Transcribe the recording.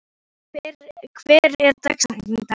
Dalmann, hver er dagsetningin í dag?